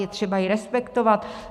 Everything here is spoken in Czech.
Je třeba jej respektovat.